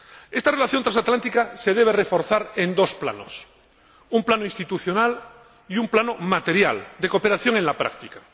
Esta relación transatlántica se debe reforzar en dos planos un plano institucional y un plano material, de cooperación en la práctica.